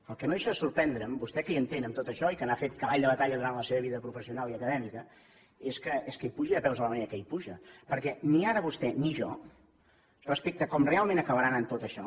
el que no deixa de sorprendre’m vostè que hi entén en tot això i que n’ha fet cavall de batalla durant la seva vida professional i acadèmica és que hi pugi de peus de la manera que hi puja perquè ni ara vostè ni jo respecte a com realment acabarà anant tot això